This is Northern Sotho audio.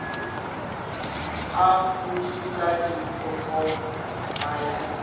a putuka dikokoko a ya